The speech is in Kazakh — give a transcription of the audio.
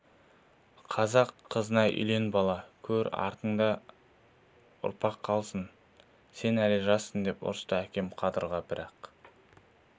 қазақ қызына үйлен бала көр артыңда ұрпақ қалсын сен әлі жассың деп ұрысты әкем қадырға бірақ